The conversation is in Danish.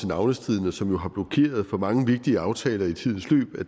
navnestriden som jo har blokeret for mange vigtige aftaler i tidens løb